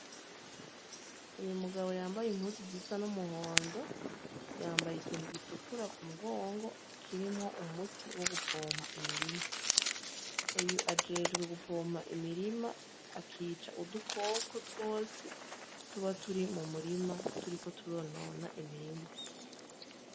Uyumugabo yambaye impuzu zisa n'umuhondo yambaye ikintu gitukura k'umugongo kirimwo umuti wo gupompa imirima uyo ajejwe gupompa imirima akica udukoko twose tuba turi mumurima turiko turonona imirima.